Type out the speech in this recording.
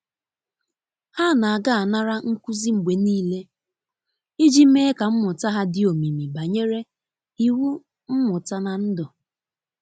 Ha na aga anara nkuzi mgbe nile iji mee ka mmuta ha di omimi banyere iwụ mmuta na ndu